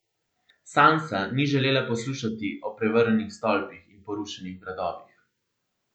Sansa ni želela poslušati o prevrnjenih stolpih in porušenih gradovih.